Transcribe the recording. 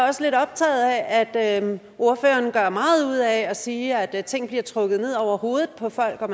også lidt optaget af at ordføreren gør meget ud af at sige at ting bliver trukket ned over hovedet på folk og at